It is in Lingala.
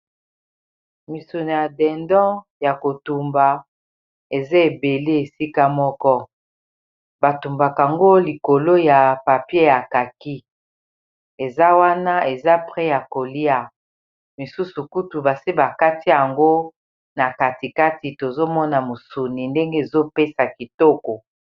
Misuno ya dendon ya kotumba eza ebele esika moko batumbakango likolo ya papier ya kaki eza wana eza pret ya kolia mosusu kutu basi bakati yango na katikati tozomona mosuni ndenge ezopesa kitoko.